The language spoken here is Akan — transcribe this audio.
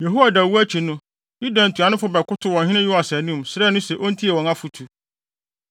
Yehoiada wu akyi no, Yuda ntuanofo bɛkotow ɔhene Yoas anim, srɛɛ no se ontie wɔn afotu.